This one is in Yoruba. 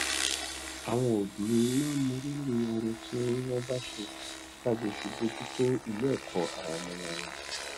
àwọn òbí wọn máa ń mọrírì ọrẹ tí wón bá ṣe láti fi bójú tó ilé èkó àwọn ọmọọmọ wọn